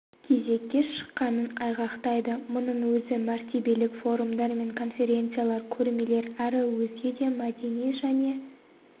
кезекке шыққанын айғақтайды мұның өзі мәртебелік форумдар мен конференциялар көрмелер әрі өзге де мәдени және